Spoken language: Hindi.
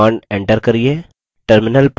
command enter करिये